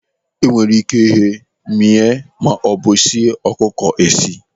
Enwere ike ighe, mịa maọbụ sie ọkụkọ esi.